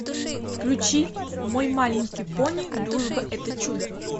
включи мой маленький пони дружба это чудо